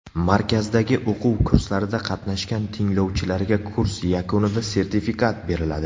Markazdagi o‘quv kurslarida qatnashgan tinglovchilarga kurs yakunida sertifikat beriladi.